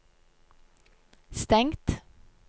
stengt